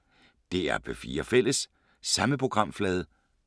DR P4 Fælles